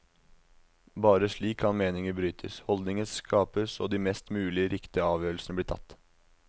Bare slik kan meninger brytes, holdninger skapes og de mest mulig riktige avgjørelsene bli tatt.